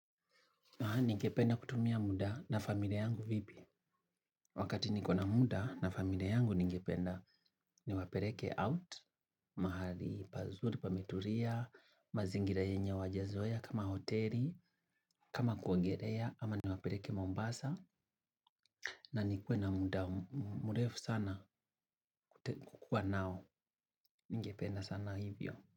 Ningependa kutumia muda na familia yangu vipi. Wakati niko na muda na familia yangu ningependa niwapeleke out, mahali pazuri pametulia, mazingira yenye wajazoea kama hoteli, kama kuongelea ama niwapeleke Mombasa. Na nikue na muda mrefu sana kukuwa nao ningependa sana hivyo.